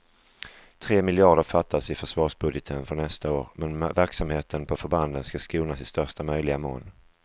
Tre miljarder fattas i försvarsbudgeten för nästa år, men verksamheten på förbanden ska skonas i största möjliga mån.